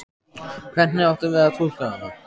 Hvernig áttum við að túlka hana?